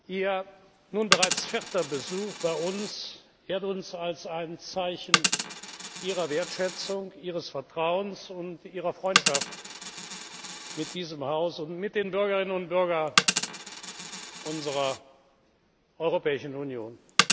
Ihr nun bereits vierter Besuch bei uns ehrt uns als ein Zeichen Ihrer Wertschätzung, Ihres Vertrauens und Ihrer Freundschaft mit diesem Haus und mit den Bürgerinnen und Bürgern unserer Europäischen Union.